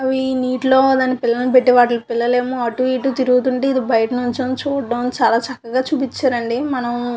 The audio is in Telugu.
అవి నీటిలో తన పిల్లలను పెట్టి వాటి పిల్లలు ఏమో అటు ఇటు తిరుగుతుంటుంటే బయటినుంచి చూడడానికి చాలా చక్కగా చూపించారు అంది మనం --